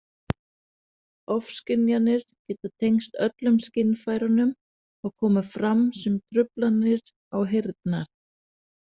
Ofskynjanir geta tengst öllum skynfærunum og koma fram sem truflanir á heyrnar-.